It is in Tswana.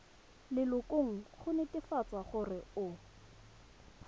lelokong go netefatsa gore o